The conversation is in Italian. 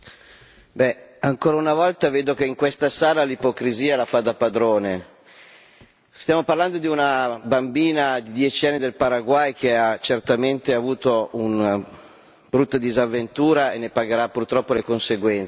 Signor Presidente, onorevoli colleghi, ancora una volta, vedo che in questa sala l'ipocrisia, la fa da padrone. Stiamo parlando di una bambina di 10 anni del Paraguay, che ha certamente avuto una brutta disavventura e ne pagherà purtroppo le conseguenze.